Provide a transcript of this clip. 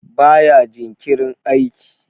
baya jinkirin aiki?